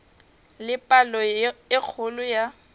le palo e kgolo ya